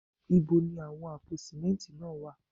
Ibo ni àwọn àpò símẹ́ntì náà wà?